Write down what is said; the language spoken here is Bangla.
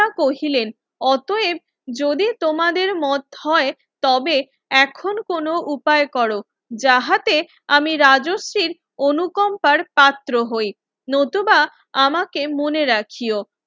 কহিলেন অতয়েব যদি তোমাদের মত হয় তবে এখন কোন উপায় করো যাহাতে আমি রাজশ্রীর অনুকম্পার পাত্র হই নতুবা আমাকে মনে রাখিয়ো